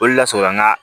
Olu lasɔrɔla an ga